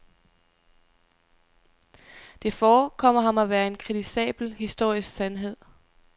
Det forekommer ham at være en kritisabel historisk sandhed.